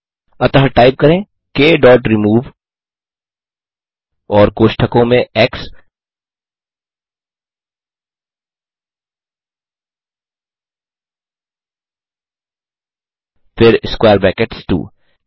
अतः टाइप करें k dot remove और कोष्ठकों में एक्स फिर स्क्वेयर ब्रैकेट्स 2